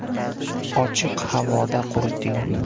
Ochiq havoda quriting.